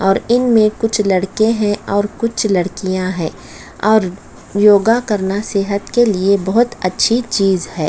और इनमे कुछ लड़के है और कुछ लड़किया है और योगा करना सेहत के लिए बहोत अच्छी चीज है ।